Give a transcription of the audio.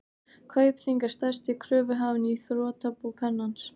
Kaupþing er stærsti kröfuhafinn í þrotabú Pennans.